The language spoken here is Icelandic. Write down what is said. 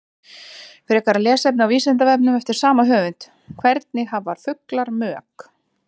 Frekara lesefni á Vísindavefnum eftir sama höfund: Hvernig hafa fuglar mök?